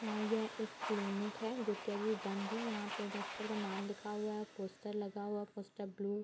यहां ये एक क्लिनिक है जो की अभी बंद है यहाँ पे डॉक्टर का नाम लिखा हुआ है पोस्टर लगा हुआ है पोस्टर ब्लू --